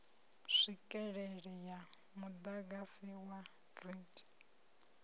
tswikelele ya muḓagasi wa grid